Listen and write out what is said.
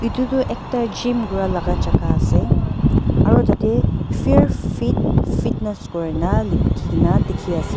edu tu ekta gym kuralaka jaka ase aru tatae fear fit fitness kurina likhikae na dikhiase.